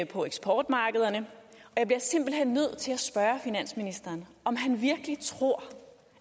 på eksportmarkederne jeg bliver simpelt hen nødt til at spørge finansministeren om han virkelig tror